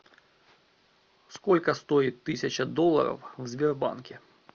сколько стоит тысяча долларов в сбербанке